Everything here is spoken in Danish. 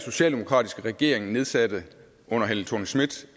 socialdemokratiske regering nedsatte under helle thorning schmidt